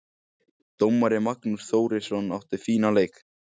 Dómari: Magnús Þórisson, átti fínan leik.